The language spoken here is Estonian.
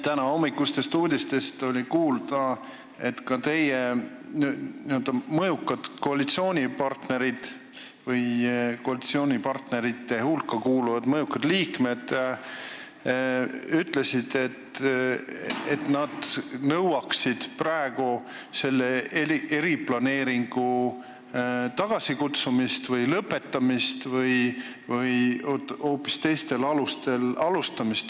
Tänahommikustest uudistest oli kuulda, et ka teie koalitsioonipartnerite hulka kuuluvad mõjukad liikmed ütlesid, et nad nõuaksid selle eriplaneeringu tagasikutsumist või lõpetamist või hoopis teistel alustel alustamist.